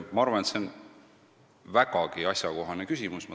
Ma arvan, et see on vägagi asjakohane küsimus.